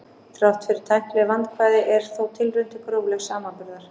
Þrátt fyrir tæknileg vandkvæði er hér þó tilraun til gróflegs samanburðar.